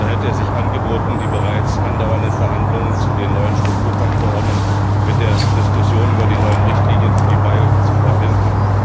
Da hätte es sich angeboten, die bereits andauernden Verhandlungen zu den neuen Strukturfondsverordnungen mit der Diskussion über die neuen Richtlinien für die Beihilfen zu verbinden.